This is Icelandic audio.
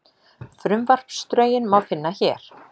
Frumvarpsdrögin má finna hér